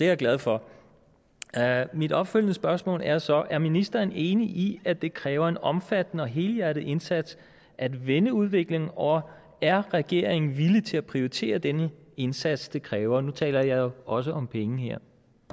jeg glad for mit opfølgende spørgsmål er så er ministeren enig i at det kræver en omfattende og helhjertet indsats at vende udviklingen og er regeringen villig til at prioritere den indsats det kræver nu taler jeg også om penge her